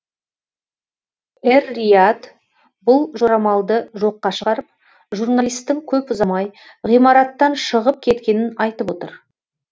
эр рияд бұл жорамалды жоққа шығарып журналистің көп ұзамай ғимараттан шығып кеткенін айтып отыр